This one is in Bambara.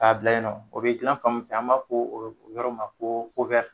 K'a bila yen nɔ o bɛ dilan fan min fɛ an b'a f'o yɔrɔ ma ko